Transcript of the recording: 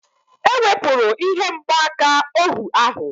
E wepụrụ ihe mgbaaka ohu ahụ